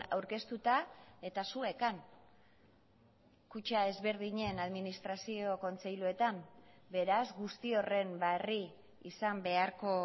aurkeztuta eta zuek han kutxa ezberdinen administrazio kontseiluetan beraz guzti horren berri izan beharko